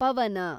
ಪವನ